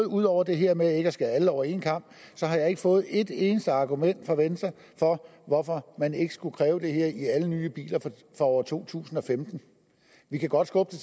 ud over det her med ikke at skære alle over en kam har jeg ikke fået et eneste argument fra venstre for hvorfor man ikke skulle kræve det her i alle nye biler fra år to tusind og femten vi kan godt skubbe